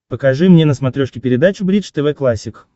покажи мне на смотрешке передачу бридж тв классик